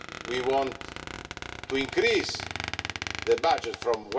We want to increase the budget from